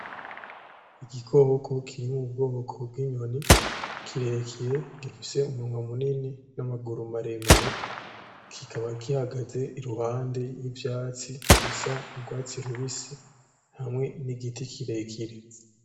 Igikoko kiri mu bwoko bw'inyoni kirekire gifise umunwa munini n'amaguru maremare, kikaba kihagaze iruhande y'ivyatsi bisa n'urwatsi rubisi hamwe n'igiti kirekire.